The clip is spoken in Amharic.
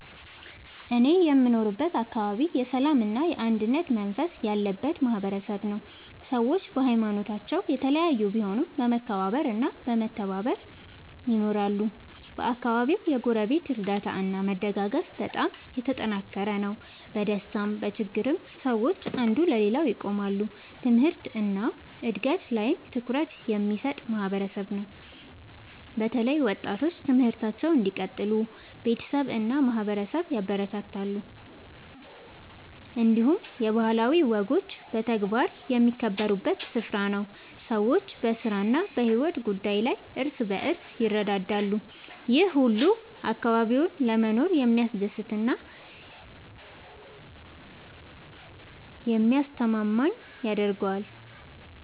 እኔ የምኖርበት አካባቢ የሰላምና የአንድነት መንፈስ ያለበት ማህበረሰብ ነው። ሰዎች በሀይማኖታቸው የተለያዩ ቢሆኑም በመከባበር እና በመተባበር ይኖራሉ። በአካባቢው የጎረቤት እርዳታ እና መደጋገፍ በጣም የተጠናከረ ነው። በደስታም በችግርም ሰዎች አንዱ ለሌላው ይቆማሉ። ትምህርት እና እድገት ላይም ትኩረት የሚሰጥ ማህበረሰብ ነው። በተለይ ወጣቶች ትምህርታቸውን እንዲቀጥሉ ቤተሰብ እና ማህበረሰብ ያበረታታሉ። እንዲሁም የባህላዊ ወጎች በተግባር የሚከበሩበት ስፍራ ነው። ሰዎች በስራ እና በሕይወት ጉዳይ ላይ እርስ በርስ ይረዳዳሉ። ይህ ሁሉ አካባቢውን ለመኖር የሚያስደስት እና የሚያስተማማኝ ያደርገዋል።